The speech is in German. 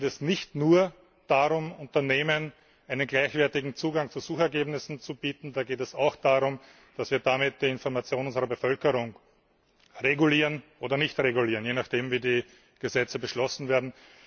Da geht es nicht nur darum, Unternehmen einen gleichwertigen Zugang zu Suchergebnissen zu bieten, da geht es auch darum, dass wir damit die Information unserer Bevölkerung regulieren oder nicht regulieren, je nachdem, wie die Gesetze beschlossen werden.